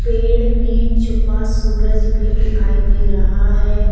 पेड़ में छुपा सूरज भी दिखाई दे रहा है।